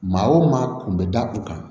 Maa o maa kun bɛ da u kan